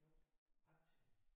Jo aktive